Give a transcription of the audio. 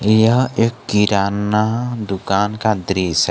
यह एक किराना दुकान का दृश्य है।